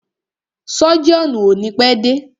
Sọ́jíọ̀nù o ni pẹ́ dé.